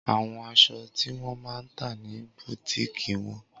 Awọn aṣọ ti wọn ma ta ni bùtíìkì wọn